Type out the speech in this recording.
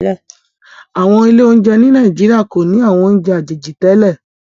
Awọn ilé oúnjẹ ni Naijiria ko ni awọn ounjẹ àjèjì tẹlẹ